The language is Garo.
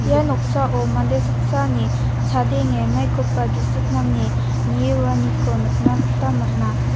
ia noksao mande saksani chadenge maikoba gisik nange nie roaniko nikna gita man·a.